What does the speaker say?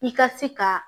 I ka se ka